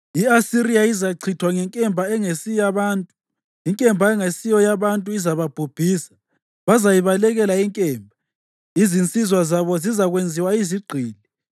“I-Asiriya izachithwa ngenkemba engesiyabantu, inkemba engasiyo yabantu izababhubhisa. Bazayibalekela inkemba, izinsizwa zabo zizakwenziwa izigqili.